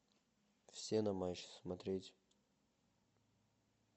все на матч смотреть